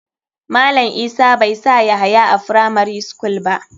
Malam isa bai sa yahaya a firamari school ba.